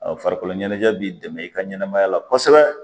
farikolo ɲɛnajɛ b'i dɛmɛ i ka ɲɛnamaya la kosɛbɛ